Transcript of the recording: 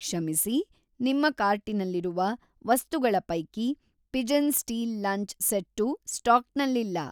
ಕ್ಷಮಿಸಿ, ನಿಮ್ಮ ಕಾರ್ಟಿನಲ್ಲಿರುವ ವಸ್ತುಗಳ ಪೈಕಿ ಪಿಜನ್‌ ಸ್ಟೀಲ್ ಲಂಚ್‌ ಸೆಟ್ಟು ಸ್ಟಾಕ್‌ನಲ್ಲಿಲ್ಲ.